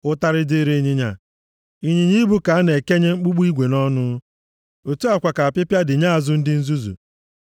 Ụtarị dịrị ịnyịnya, ịnyịnya ibu ka a na-ekenye mkpụmkpụ igwe nʼọnụ; otu a kwa ka apịpịa dị nye azụ ndị nzuzu.